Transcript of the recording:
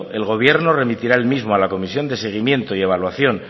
el gobierno remitirá al mismo a la comisión de seguimiento y evaluación